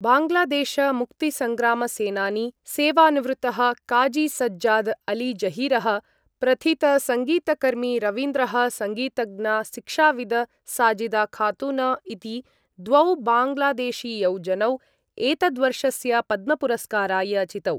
बाङ्ग्लादेशमुक्तिसंग्रामसेनानी सेवानिवृत्तः काज़ी सज्जाद अलीजहीरः, प्रथितसङ्गीतकर्मी रवीन्द्रः संगीतज्ञा शिक्षाविद् साजिदा खातून इति द्वौ बाङ्ग्लादेशीयौ जनौ एतद्वर्षस्य पद्मपुरस्काराय चितौ।